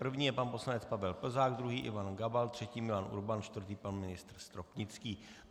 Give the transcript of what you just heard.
První je pan poslanec Pavel Plzák, druhý Ivan Gabal, třetí, Milan Urban, čtvrtý pan ministr Stropnický.